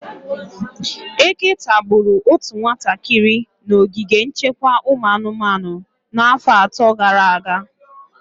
Eke tagburu otu nwatakịrị na ogige nchekwa ụmụ anụmanụ n'afọ atọ gara aga.